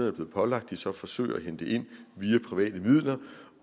er blevet pålagt de så forsøger at hente ind via private midler